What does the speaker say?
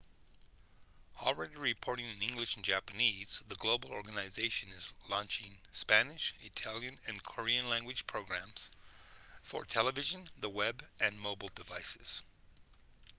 already reporting in english and japanese the global organization is launching spanish italian and korean-language programs for television the web and mobile devices